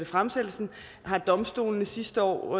fremsættelsen har domstolene sidste år